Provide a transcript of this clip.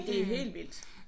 Det er helt vildt